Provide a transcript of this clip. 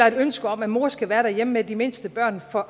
et ønske om at mor skal være derhjemme med de mindste børn får